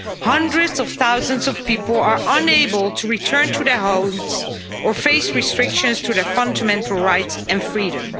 Hundreds of thousands of people are unable to return to their homes or face restrictions to their fundamental rights and freedom.